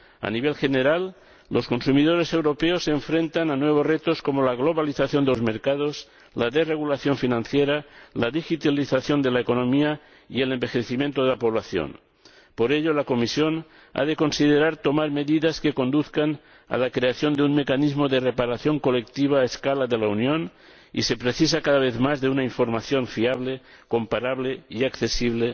A nivel general, los consumidores europeos se enfrentan a nuevos retos como la globalización de los mercados, la desregulación financiera, la digitalización de la economía y el envejecimiento de la población. Por ello, la Comisión ha de considerar tomar medidas que conduzcan a la creación de un mecanismo de reparación colectiva a escala de la Unión y se precisa cada vez más una información fiable, comparable y accesible